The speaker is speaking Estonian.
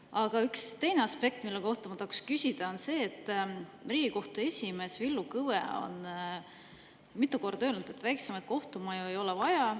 Aga üks teine aspekt, mille kohta ma tahan küsida, on see, et Riigikohtu esimees Villu Kõve on mitu korda öelnud, et väiksemaid kohtumaju ei ole vaja.